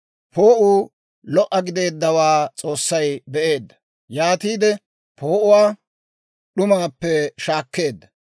Poo'uu lo"a gideeddawaa S'oossay be'eedda; yaatiide poo'uwaa d'umaappe shaakkeedda.